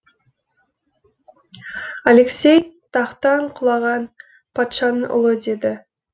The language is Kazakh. алексей тақтан құлаған патшаның ұлы деді